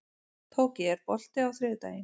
Tóki, er bolti á þriðjudaginn?